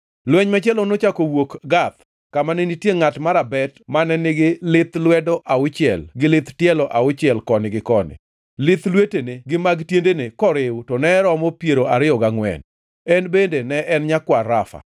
Lweny machielo nochako owuok Gath, kama ne nitie ngʼat marabet mane nigi lith lwedo auchiel gi lith tielo auchiel koni gi koni, lith lwetene gi mag tiendene koriw to ne romo piero ariyo gangʼwen. En bende ne en nyakwar Rafa.